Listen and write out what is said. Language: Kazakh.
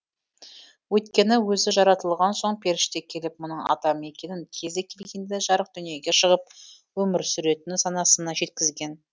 өйткені өзі жаратылған соң періште келіп мұның адам екенін кезі келгенде жарық дүниеге шығып өмір сүретінін санасына жеткізген